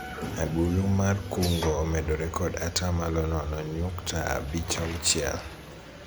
agulu mar kungo omedore kod atamalo nono nyukta abich auchiel